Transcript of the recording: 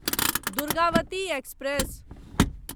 Durgavati express